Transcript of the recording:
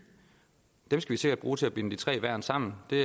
skal vi sikkert bruge til at binde de tre værn sammen det